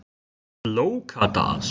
Flókadal